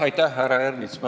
Aitäh, härra Ernits!